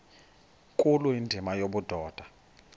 nkulu indima yobudoda